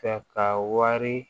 Fɛ ka wari